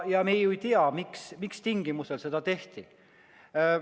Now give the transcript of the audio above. Ja me ju ei tea, mis tingimusel seda tehti.